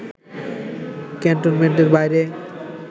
ক্যান্টমেন্টের বাইরে